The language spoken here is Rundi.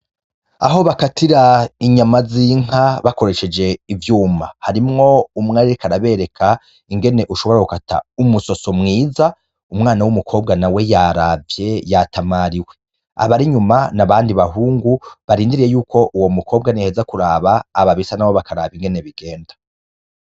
Aho bakatira inyama z'inka bakoresheje ivyuma harimwo umwe ariko arabereka ingene ushobora gukata umusoso mwiza, umwana w'umukobwa nawe yaravye yatamariwe, abari inyuma n'abandi bahungu barindiriye yuko uwo mukobwa niyaheza kuraba ababisa nabo bakaraba ingene bigenda.